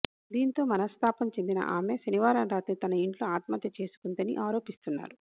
దీంతో మనస్తాపం చెందిన ఆమె శనివారం రాత్రి తన ఇంట్లో ఆత్మహత్య చేసుకుందని ఆరోపిస్తున్నారు